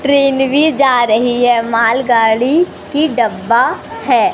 Train भी जा रही है मालगाड़ी की डब्बा है।